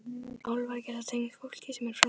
Álfar geta tengst fólki sem er framliðið.